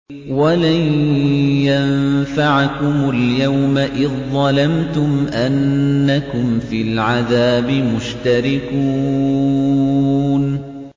وَلَن يَنفَعَكُمُ الْيَوْمَ إِذ ظَّلَمْتُمْ أَنَّكُمْ فِي الْعَذَابِ مُشْتَرِكُونَ